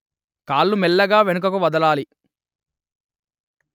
కాళ్ళు మెల్లగా వెనుకకు వదలాలి